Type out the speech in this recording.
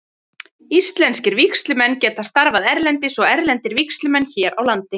Íslenskir vígslumenn geta starfað erlendis og erlendir vígslumenn hér á landi.